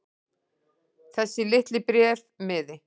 Þessi litli bréfmiði.